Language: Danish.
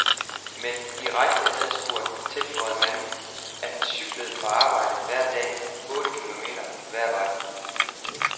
Men direkte adspurgt tilføjede manden, at han cyklede på arbejde hver dag, otte km hver vej.